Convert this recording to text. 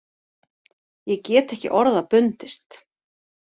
Ég get ekki orða bundist.